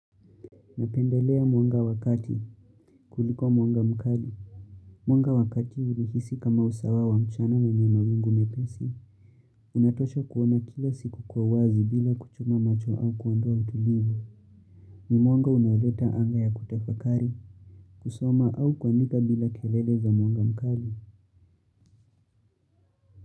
Napendelea mwanga wa kati. Kuliko mwanga mkali. Mwanga wa kati hunihisi kama usawa wa mchana wenye mawingu mepesi. Unatosha kuona kila siku kwa wazi bila kuchoma macho au kuondoa utulivu. Ni mwanga unaoleta anga ya kutafakari. Kusoma au kuandika bila kelele za mwanga mkali.